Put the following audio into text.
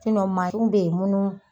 bE yen munnu